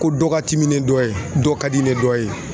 Ko dɔ ka timi ni dɔ ye dɔ ka di ni dɔ ye.